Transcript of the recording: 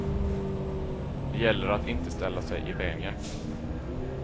Det gäller att inte ställa sig i vägen.